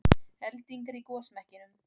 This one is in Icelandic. Eldingar í gosmekkinum